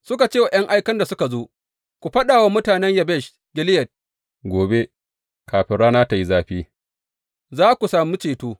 Suka ce wa ’yan aikan da suka zo, Ku faɗa wa mutanen Yabesh Gileyad, Gobe, kafin rana tă yi zafi, za ku sami ceto.’